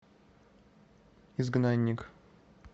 изгнанник